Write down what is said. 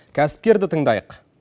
кәсіпкерді тыңдайық